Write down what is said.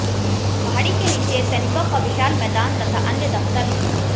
पहाड़ी के नीचे सैनिकों का विशाल मैदान तथा अन्य दफ्तर हैं